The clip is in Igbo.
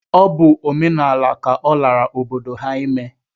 Ọ bụ omenaala ka ọ lara obodo ha ime